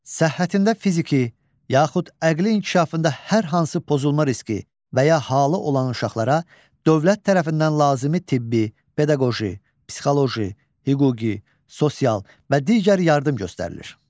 Səhhətində fiziki, yaxud əqli inkişafında hər hansı pozulma riski və ya halı olan uşaqlara dövlət tərəfindən lazımi tibbi, pedaqoji, psixoloji, hüquqi, sosial və digər yardım göstərilir.